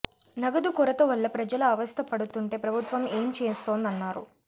నగదు కొరత వల్ల ప్రజలు అవస్థ పడుతుంటే ప్రభుత్వం ఏం చేస్తోందన్నారు